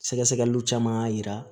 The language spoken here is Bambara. Sɛgɛsɛgɛliw caman y'a yira